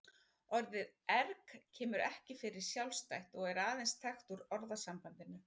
Orðið erg kemur ekki fyrir sjálfstætt og er aðeins þekkt úr orðasambandinu.